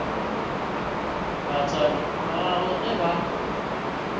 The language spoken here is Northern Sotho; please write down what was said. batswadi ba gagwe ge ba